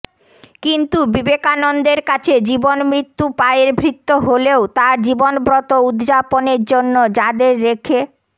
কিন্তু বিবেকানন্দের কাছে জীবনমৃত্যু পায়ের ভৃত্য হলেও তাঁর জীবনব্রত উদ্যাপনের জন্য যাঁদের রেখে